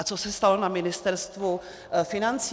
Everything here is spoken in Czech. A co se stalo na Ministerstvu financí?